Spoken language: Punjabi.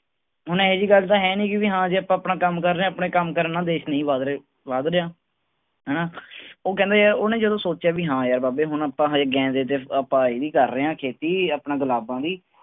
ਹੁਣ ਇਹੋ ਜਿਹੀ ਗੱਲ ਤਾਂ ਹੈਨੀ ਕਿ ਵੀ ਹਾਂ ਜੇ ਆਪਾਂ ਆਪਣਾ ਕੰਮ ਰਹੇ ਹਾਂ ਆਪਣੇ ਕੰਮ ਕਰਨ ਨਾਲ ਦੇਸ ਨਹੀਂ ਵੱਧ ਰਹੇ, ਵੱਧ ਰਿਹਾ, ਹਨਾ ਉਹ ਕਹਿੰਦਾ ਯਾਰ ਉਹਨੇ ਜਦੋਂ ਸੋਚਿਆ ਵੀ ਹਾਂ ਯਾਰ ਬਾਬੇ ਹੁਣ ਆਪਾਂ ਹਜੇ ਗੇਂਦੇ ਤੇ ਆਪਾਂ ਇਹਦੀ ਕਰ ਰਹੇ ਹਾਂ ਖੇਤੀ ਆਪਣਾ ਗੁਲਾਬਾਂ ਦੀ।